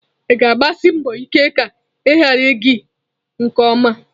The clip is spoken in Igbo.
Ị ga-agbasi mbọ ike ka ihe gara gi nke ọma.